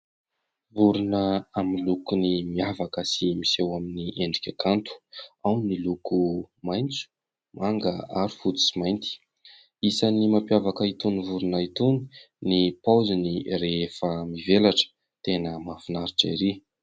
Vorona amin'ny lokony miavaka sy miseho amin'ny endrika kanto, ao ny loko maitso, manga ary fotsy sy mainty. Isan'ny mampiavaka itony vorona itony ny paoziny rehefa mivelatra, tena mafinaritra erỳ.